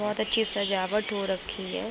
बहोत अच्छी सजावट हो रखी है ।